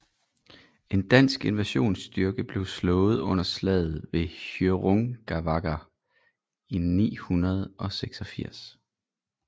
En dansk invasionsstyrke blev slået under slaget ved Hjörungavágr i 986